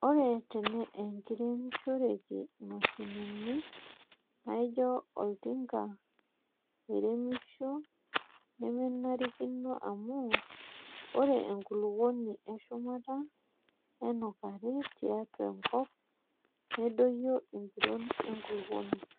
Ore teneiremishoreki mashinini naijio oltinka oiremisho nemenarikino amu ore enkulupuoni eshumata nenukari tiatua enkop nedoyio empiron enkulupuoni.